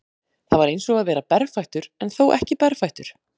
Það var eins og að vera berfættur en þó ekki berfættur.